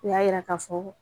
O y'a yira k'a fɔ